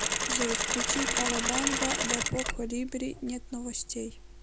джой включи кавабанга депо колибри нет новостей